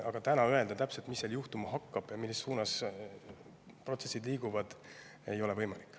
Aga täna täpselt öelda, mis seal juhtuma hakkab ja millises suunas protsessid liiguvad, ei ole võimalik.